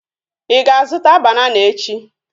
Ị ga-azụta banana echi?